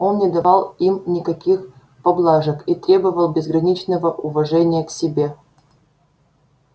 он не давал им никаких поблажек и требовал безграничного уважения к себе